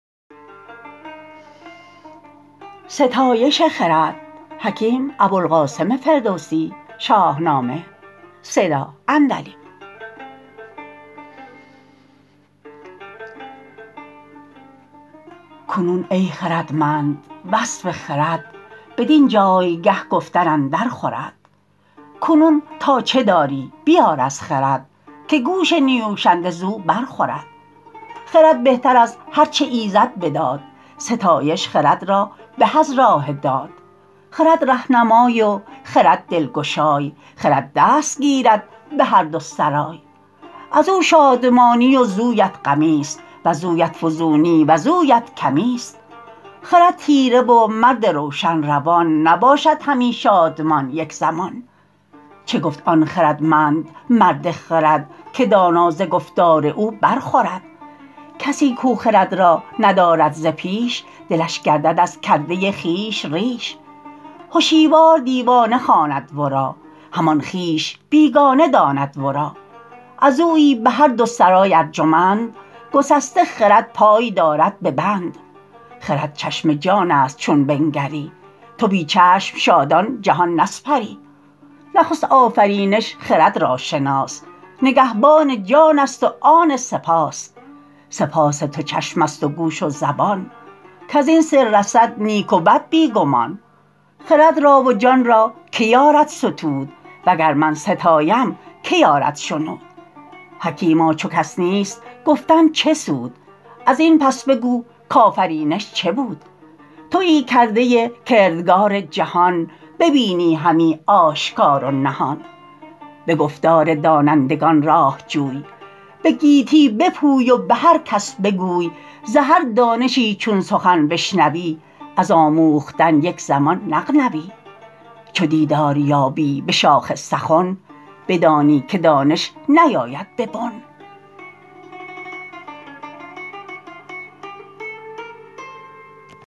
کنون ای خردمند وصف خرد بدین جایگه گفتن اندر خورد کنون تا چه داری بیار از خرد که گوش نیوشنده زو بر خورد خرد بهتر از هر چه ایزد بداد ستایش خرد را به از راه داد خرد رهنمای و خرد دلگشای خرد دست گیرد به هر دو سرای از او شادمانی وزویت غمی است وزویت فزونی وزویت کمی است خرد تیره و مرد روشن روان نباشد همی شادمان یک زمان چه گفت آن خردمند مرد خرد که دانا ز گفتار او بر خورد کسی کو خرد را ندارد ز پیش دلش گردد از کرده خویش ریش هشیوار دیوانه خواند ورا همان خویش بیگانه داند ورا از اویی به هر دو سرای ارجمند گسسته خرد پای دارد به بند خرد چشم جان است چون بنگری تو بی چشم شادان جهان نسپری نخست آفرینش خرد را شناس نگهبان جان است و آن سه پاس سه پاس تو چشم است و گوش و زبان کز این سه رسد نیک و بد بی گمان خرد را و جان را که یارد ستود و گر من ستایم که یارد شنود حکیما چو کس نیست گفتن چه سود از این پس بگو کآفرینش چه بود تویی کرده کردگار جهان ببینی همی آشکار و نهان به گفتار دانندگان راه جوی به گیتی بپوی و به هر کس بگوی ز هر دانشی چون سخن بشنوی از آموختن یک زمان نغنوی چو دیدار یابی به شاخ سخن بدانی که دانش نیاید به بن